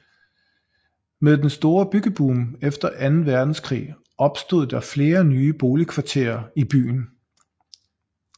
Med den storre byggeboom efter anden verdenskrig opstod der flere nye boligkvarterer i byen